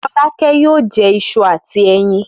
Fọlákẹ́ yóò jẹ iṣu àti ẹyin.